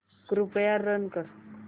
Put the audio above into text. कृपया रन कर